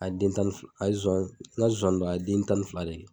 A ye den tan ni f a ye zoan ŋa zoani dɔ a ye den tan ni fila de kɛ.